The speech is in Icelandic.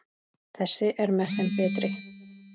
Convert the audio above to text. Þessi er með þeim betri.